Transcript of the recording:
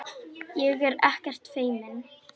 Ég er ekkert feimin.